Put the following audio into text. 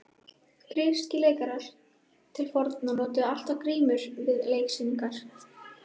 Grískir leikarar til forna notuðu alltaf grímur við leiksýningar.